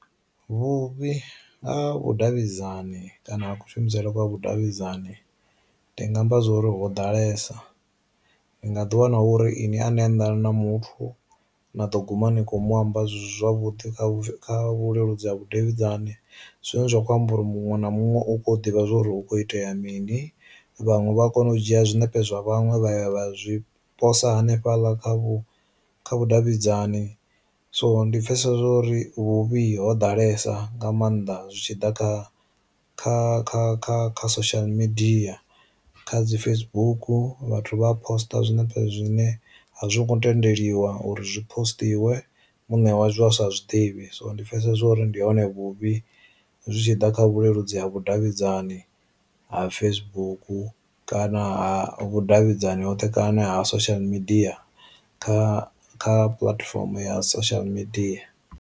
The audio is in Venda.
Vhuvhi ha vhu davhidzani kana ku shumisele kwa vhu davhidzani ndi nga amba zwori ho ḓalesa, ni nga ḓi wana uri ini ani anḓani na muthu na ḓo guma ni kho mu amba zwisi zwavhuḓi kha vhuleludzi ha vhudavhidzani zwine zwa kho amba uri muṅwe na muṅwe u kho ḓivha zwori hu kho itea mini, vhaṅwe vha a kona u dzhia zwinepe zwa vhaṅwe vha ya vha zwi posa hanefhaḽa kha vhu kha vhu davhidzani. So ndi pfesesa zwo uri vhuvhi ho ḓalesa nga maanḓa zwitshiḓa kha kha kha kha kha social media kha dzi Facebook vhathu vha posṱa zwine zwine a zwi ngo tendeliwa uri zwi posṱiwe muṋe wa zwo a sa zwi ḓivhi, so ndi pfesesa uri ndi hone vhuvhi zwi tshi ḓa kha vhuleludzi ha vhu davhidzani ha Facebook kana vhu davhidzani hoṱhe kana social media kha kha puḽatifomo ya social media.